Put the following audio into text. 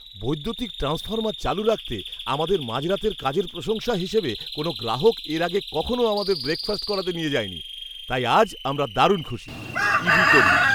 বৈদ্যুতিক ট্রান্সফর্মার চালু রাখতে আমাদের মাঝরাতের কাজের প্রশংসা হিসেবে কোনও গ্রাহক এর আগে কখনও আমাদের ব্রেকফাস্ট করাতে নিয়ে যায়নি, তাই আজ আমরা দারুণ খুশি। ইবি কর্মী